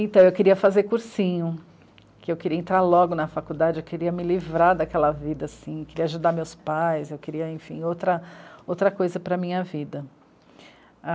Então, eu queria fazer cursinho, porque eu queria entrar logo na faculdade, eu queria me livrar daquela vida assim, eu queria ajudar meus pais, eu queria, enfim, outra, outra coisa para a minha vida.